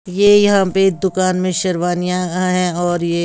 ये यहाँ पे दुकान में शेरवानियाँ आ हैं और ये--